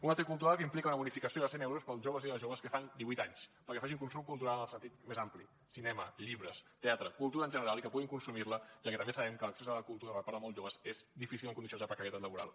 una t cultura que implica una bonificació de cent euros per als joves i les joves que fan divuit anys perquè facin consum cultural en el sentit més ampli cinema llibres teatre cultura en general i que puguin consumir la ja que també sabem que l’accés a la cultura per part de molts joves és difícil en condicions de precarietat laboral